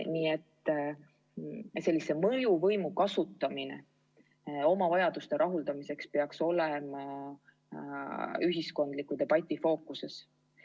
Nii et sellise mõjuvõimu kasutamine oma vajaduste rahuldamiseks peaks olema ühiskondliku debati fookuses.